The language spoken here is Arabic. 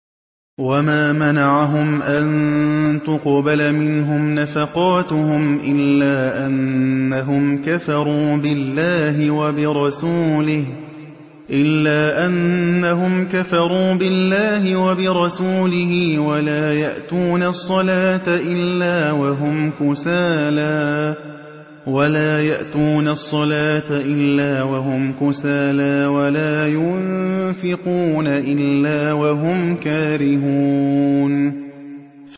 وَمَا مَنَعَهُمْ أَن تُقْبَلَ مِنْهُمْ نَفَقَاتُهُمْ إِلَّا أَنَّهُمْ كَفَرُوا بِاللَّهِ وَبِرَسُولِهِ وَلَا يَأْتُونَ الصَّلَاةَ إِلَّا وَهُمْ كُسَالَىٰ وَلَا يُنفِقُونَ إِلَّا وَهُمْ كَارِهُونَ